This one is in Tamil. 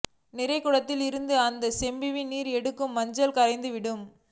நிறைகுடத்தில் இருந்து அந்த செம்பில் நீர் எடுத்ததும் மஞ்சள் கரைந்து விடும்